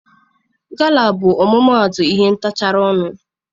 Gala bụ ọmụmaatụ ihe ntacharị ọnụ.